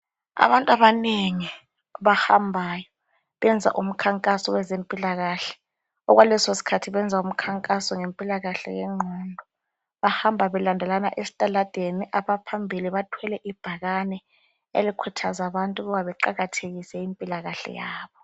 Abantu abanengi abahambayo ,benza umkhankaso wezempilakahle .Okwaleso sikhathi benza umkhankaso ngempilakahle yengqondo ,bahamba belandelana estaladeni .Abaphambili bathwele ibhakane elikhuthaza abantu ukuba beqakathekise impilakahle yabo.